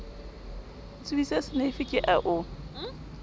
ntsubisa seneifi ke a o